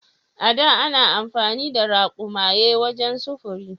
A da ana amfani da raƙumaye wajen sufuri.